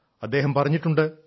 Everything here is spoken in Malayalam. അദ്ദേഹം പറഞ്ഞിട്ടുണ്ട്